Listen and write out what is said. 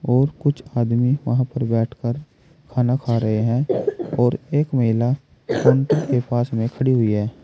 और कुछ आदमी वहां पर बैठकर खाना खा रहे हैं और एक महिला काउंटर के पास में खड़ी हुई है।